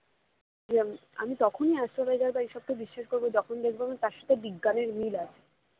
যে আমি তখনই astrologer বা এইসবকে বিশ্বাস করবো যখন দেখবো আমি তার সাথে বিজ্ঞানের মিল আছে